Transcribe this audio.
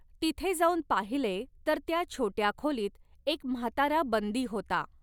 तिथे जाऊन पाहिले तर त्या छोट्य़ा खोलीत एक म्हातारा बंदी होता.